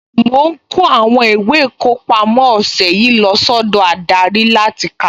Mo ń kó àwọn ìwé ìkọpámọ́ ọ̀sẹ̀ yìí lọ sọ́dọ̀ adarí láti kà